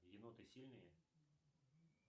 еноты сильные